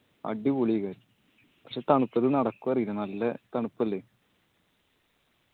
അടിപൊളി പക്ഷെ തണുപ്പത്ത് നടക്കോ അറിയില്ല നല്ലെ തണുപ്പല്ലേ